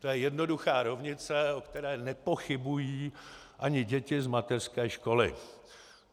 To je jednoduchá rovnice, o které nepochybují ani děti z mateřské školy.